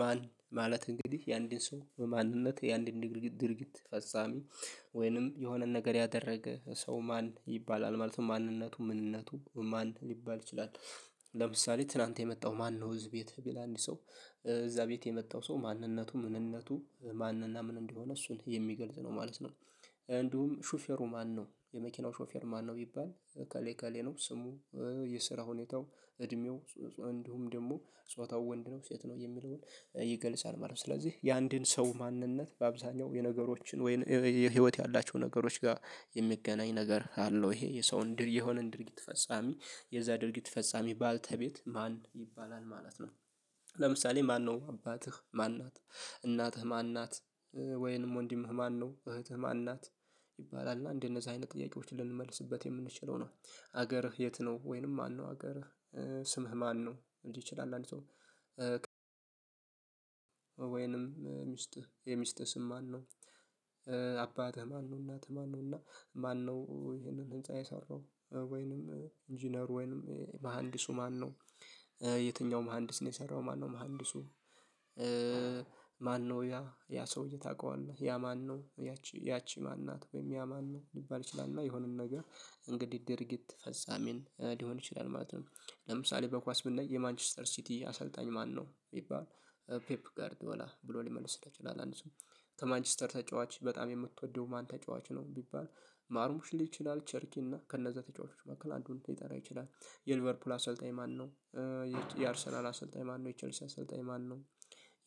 ማን ማለት እንግዲህ የአንድን ሰው በማንነት የአንድን ድርጊት ድርጊት ፈጻሚ ወይንም የሆነ ነገር ያደረገ ሰው ማን ይባላል ማለት ነው ማንነቱ ምንነቱ ማን ሊባል ይችላል? ለምሳሌ ትላንት የመጣው ማነው? እዚህ ቤት ቢል አንድ ሰው እዛ ቤት የመጣው ሰው ማንነቱ ምንነቱ ማንና ምን እንደሆነ እሱን የሚገልጽ ነው ማለት ነው። እንዲሁም ሹፌሩ ማነው? የመኪናው ሾፌር ማነው? ቢባል እከሌ እከሌ ነው ስሙ የስራ ሁኔታው እድሜው ጾጾ እንዲሁም ደግሞ ጾታው ወንድ ነው ሴት ነው የሚለውን ይገልጻል ማለት ነው። ስለዚህ የአንድን ሰው ማንነት በአብዛኛው የነገሮችን ወይን የህይወት ያላቸው ነገሮች ጋር የሚገናኝ ነገር አለው ይሄ የሰውን ድር የሆነን ድርጊት ፈጻሚ የዛ ድርጊት ፈጻሚ ባለቤት ማን ይባላል ማለት ነው። ለምሳሌ ማነው አባትህ ማን ናት? እናትህ ማን ናት? ወይንም ወንድምህ ማነው እህትህ ማን ናት? ይባላል እና እንደነዚህ አይነት ጥያቄዎች ልንመልስበት የምንችለው ነው። ሀገርህ የት ነው? ወይንም ማነው ሀገርህ? ስምህ ማነው? እንዲ ችል አንድ አንድ ሰው ወይንም ሚስት የሚስትህ ስም ማነው? አባትህ ማነው? እናትህ ማነው? እና ማነው ይሄንን ህንፃ የሰራው ወይንም ኢንጂነር ወይንም መሃንዲሱ ማነው? የትኛው መሃንዲስ ነው የሰራው ማነው መሃንዲሱ? ማነው ያ ያ ሰውዬ ታውቃለህ ያ ማነው? ያቺ ያቺ ማን ናት? ወይም ያ ማን ነው? ሊባል ይችላል እና የሆነን ነገር እንግዲህ ድርጊት ፈጻሚን ሊሆን ይችላል ማለት ነው። ለምሳሌ በኳስ ብናይ የማንችስተር ሲቲ አሰልጣኝ ማነው? ይባል ፔፕ ጋርዲ ወላ ብሎ ሊመልስ ይችላል አንድ ሰው። ከማንችስተር ተጫዋች በጣም የምትወደው ማን ተጫዋች ነው? ቢባል ማርሙሽ ሊል ይችላል ቸርኪ እና ከነዛ ተጫዋቾች መካከል አንዱን ሊጠራ ይችላል። የሊቨርፑል አሰልጣኝ ማነው? የቼ የአርሰናል አሰልጣኝ ማነው የቼልሲ አሰልጣኝ ማነው?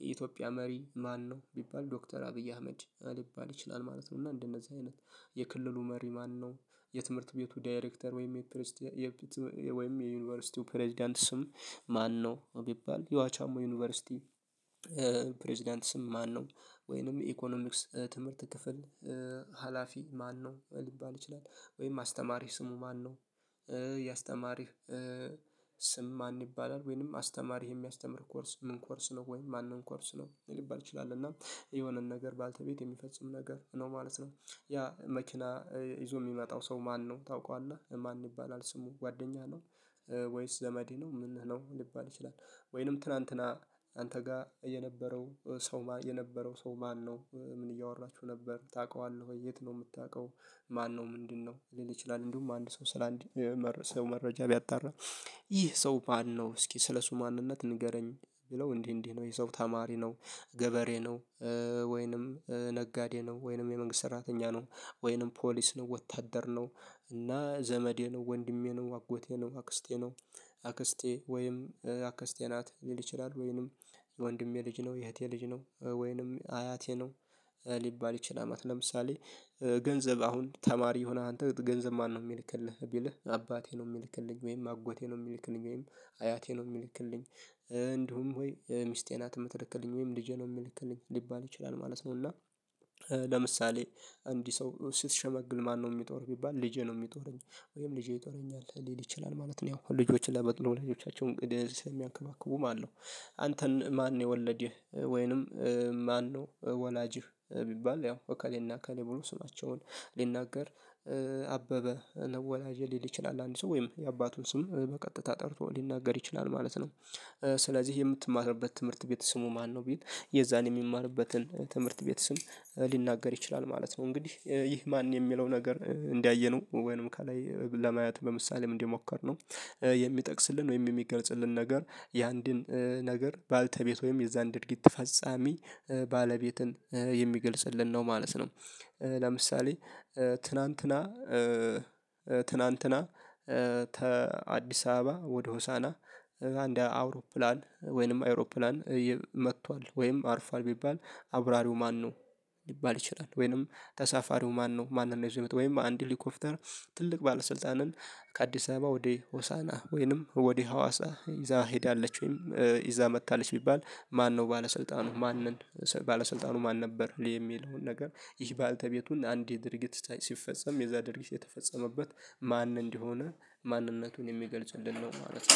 የኢትዮጵያ መሪ ማነው? ቢባል ዶክተር አብይ አህመድ ሊባል ይችላል ማለት ነው። እና እንደነዚህ አይነት የክልሉ መሪ ማነው? የትምህርት ቤቱ ዳይሬክተር ወይም የፕሬስቲ የፒትስ ወይም የዩኒቨርሲቲው ፕሬዝዳንት ስም ማነው? ቢባል የዋቻሞ ዩኒቨርሲቲ ፕሬዝዳንትስም ማነው? ወይንም ኢኮኖሚክስ ትምህርት ክፍል ሀላፊ ማነው? ሊባል ይችላል ወይም አስተማሪ ስሙ ማነው? ያ የአስተማሪህ ስም ማን ይባላል ወይንም አስተማሪ የሚያስተምር ኮርስ ምን ኮርስ ነው? ወይንም ማንን ኮርስ ነው ሊባል ይችላል። እና የሆነን ነገር ባለቤት የሚፈጽም ነገር ነው ማለት ነው። ያ መኪና ይዞ የሚመጣው ሰው ማነው? ታውቃለህ ማን ይባላል? ስሙ ጓደኛ ነው። ወይስ ዘመድህ ነው? ምንህ ነው ሊባል ይችላል። ወይንም ትናንትና አንተ ጋር የነበረው ሰው የነበረው ሰው ማነው ምን እያወራችሁ ነበር ታውቀዋለህ ወይ? የት ነው የምታውቀው? ማነው ምንድንነው ሊል ይችላል? እንዲሁም አንድ ሰው ስለ አንድ ሰው መረጃ ሊያጣራ ይህ ሰው ባል ነው እስኪ ስለሱ ማንነት ንገረኝ ብለው እንዲህ እንዲህ ነው የሰው ተማሪ ነው። ገበሬ ነው። ወይንም ነጋዴ ነው ወይንም የመንግስት ሰራተኛ ነው። ወይንም ፖሊስ ነው ወታደር ነው። እና ዘመዴ ነው ወንድሜ ነው አጎቴ ነው አክስቴ ነው። አክስቴ ወይም አክስቴ ናት ሊል ይችላል። ወይንም የወንድሜ ልጅ ነው የእህቴ ልጅ ነው ወይንም አያቴ ነው። ሊባል ይችላልማለት ነው። ለምሳሌ ገንዘብ አሁን ተማሪ የሆነ አንተ ገንዘብ ማነው? የሚልክልህ ቢልህ አባቴ ነው የሚልክልኝ ወይም አጎቴ ነው የሚልክልኝ ወይም አያቴ ነው የሚልክልኝ እንዲሁም ወይ ሚስቴ ናት የምትልክልኝ ወይም ልጄ ነው የሚልክልኝ ሊባል ይችላል ማለት ነው። እና ለምሳሌ እንዲህ ሰው ስትሸመግል ማነው የሚጦርህ ቢባል ልጄ ነው የሚጦረኝ ወይም ልጄ ይጦረኛል ሊል ይችላል ማለት ነው። ያው ልጆችን ለመጥለው ልጆቻቸው እንግዲህ ስለሚያንከባክቡም አለው። አንተን ማን? የወለደህ ወይንም ማነው ወላጅህ? ቢባል ያው እከሌና እከሌ ብሎ ስማቸውን ሊናገር አበበ ነው ወላጄ ሊል ይችላል አንድ ሰው ወይም የአባቱን ስም በቀጥታ ጠርቶ ሊናገር ይችላል ማለት ነው። ስለዚህ የምትማትርበት ትምህርት ቤት ስሙ ማነው? ቢል የዛን የሚማርበትን ትምህርት ቤት ስም ሊናገር ይችላል ማለት ነው። እንግዲህ ይህ ማን የሚለው ነገር እንዳየነው ወይንም ከላይ ለማየት በምሳሌ እንደሞከር ነው። የሚጠቅስልን ወይም የሚገልጽልን ነገር የአንድን ነገር ባለቤት ወይም የዛን ድርጊት ፈጻሚ ባለቤትን የሚገልጽልን ነው ማለት ነው። ለምሳሌ ትናንትና ትናንትና ተ አዲስ አበባ ወደ ሆሳህና አንድ አውሮፕላን ወይንም አይሮፕላን መቷል ወይም አርፏል ቢባል አብራሪው ማነው? ሊባል ይችላል ወይንም ተሳፋሪው ማነው? ማን ነው ይዞ የመጣው? ወይም አንድ ሄሊኮፕተር ትልቅ ባለስልጣንን ከአዲስ አበባ ወደ ሆሳህና ወይንም ወደ ሀዋሳ ይዛ ሄዳለች ወይም ይዛ መጥታለች ቢባል? ማነው ባለስልጣኑ ማንን ባለስልጣኑ ማን ነበር? የሚለውን ነገር ይህ ባለቤቱን አንዴ ድርጊት ሲፈጸም የዛ ድርጊት የተፈጸመበት ማን እንደሆነ ማንነቱን የሚገልፅልን ነው ማለት ነው